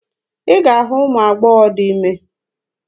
Ị ga-ahụ ụmụ agbọghọ dị ime.